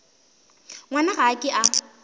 ngwana ga a ke a